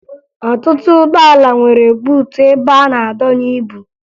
Ọtụtụ ụgbọala nwere buutu ebe a na-adọnye ibu